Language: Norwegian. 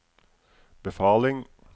befaling